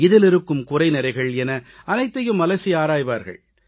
இதில் இருக்கும் குறைநிறைகள் என அனைத்தையும் அலசி ஆராய்வார்கள்